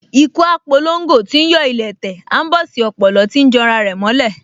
Ikú á p’olongo tíí yọ́ ilẹ̀ẹ́ tẹ̀, aḿbọ̀sí ọ̀pòlọ́ tíí janra rẹ̀ mọ́ ilẹ̀